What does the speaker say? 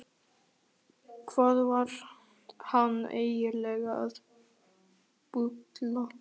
Hvað var hann eiginlega að bulla?